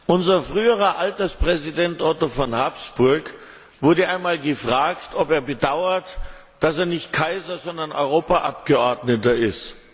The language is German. Unser früherer Alterspräsident Otto von Habsburg wurde einmal gefragt, ob er bedauere, dass er nicht Kaiser, sondern Europaabgeordneter ist.